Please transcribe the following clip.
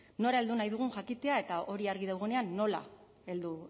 nora heldu nahi dugun jakitea eta hori argi dagoenean nola heldu